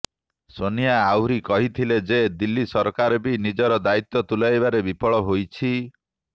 ସୋନିଆ ଆହୁରି କହିଥିଲେ ଯେ ଦିଲ୍ଲୀ ସରକାର ବି ନିଜର ଦାୟିତ୍ବ ତୁଲାଇବାରେ ବିଫଳ ହୋଇଛି